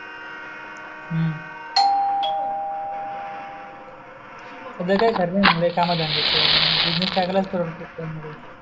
शिक बाबा म्हणजे काही खरी नाही काम धंदयाच बिझनेस टाकाला पुरडते काही णा काही